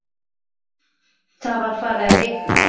Það var farið að rigna.